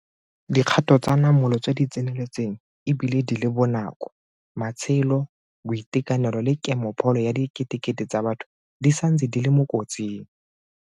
Dikgato tsa namolo tse di tseneletseng e bile di le bonako. Matshelo, boitekanelo le kemopholo ya diketekete tsa batho di santse di le mo kotsing.